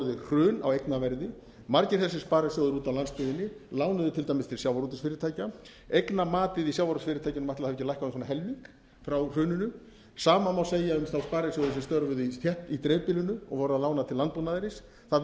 hrun á eignaverði margir þessir sparisjóðir úti á landsbyggðinni lánuðu til dæmis til sjávarútvegsfyrirtækja eignamatið í sjávarútvegsfyrirtækjunum ætli það hafi ekki lækkað um svona helming frá hruninu sama má segja um sparisjóðina sem störfuðu í dreifbýlinu og voru að lána til landbúnaðarins það